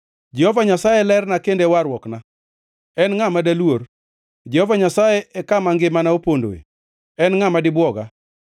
Jehova Nyasaye e lerna kendo e warruokna; en ngʼa ma daluor? Jehova Nyasaye e kama ngimana opondoe. En ngʼa ma dibwoga?